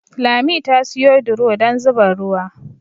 Lami ta siyo duro dan zuba ruwa